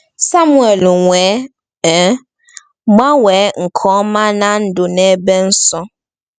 Samuel wee um gbanwee nke ọma ná ndụ n’ebe nsọ.